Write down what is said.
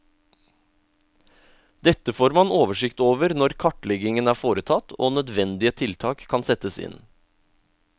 Dette får man oversikt over når kartleggingen er foretatt og nødvendige tiltak kan settes inn.